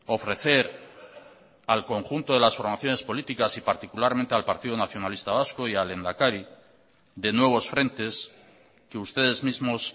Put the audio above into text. ofrecer al conjunto de las formaciones políticas y particularmente al partido nacionalista vasco y al lehendakari de nuevos frentes que ustedes mismos